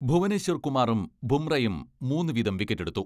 ഭുവനേശ്വർ കുമാറും ബുംറയും മൂന്നു വീതം വിക്കറ്റെടുത്തു.